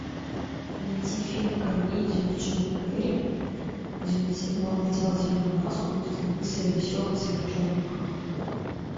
найти фильм комедию с джимом керри где он надевал зеленую маску и становился веселым сверхчеловеком